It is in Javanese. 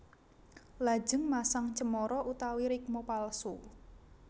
Lajeng masang cemara utawi rikma palsu